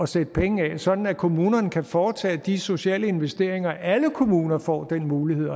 sætte penge af sådan at kommunerne kan foretage de sociale investeringer alle kommuner får den mulighed